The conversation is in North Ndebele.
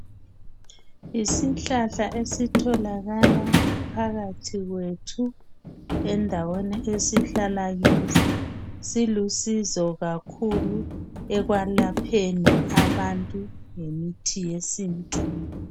Yisihlahla esitholakala phakathi kwethu endaweni esihlala kizo silusizo kakhulu ekwelapheni abantu ngemithi yesintu.